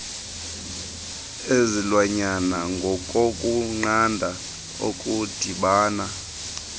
ezilwanyana ngokokunqanda okudibana